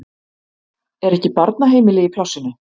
Er ekki barnaheimili í plássinu?